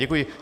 Děkuji.